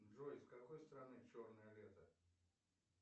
джой с какой стороны черное лето